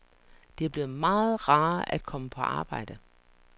Det er blevet meget rarere at komme på arbejde.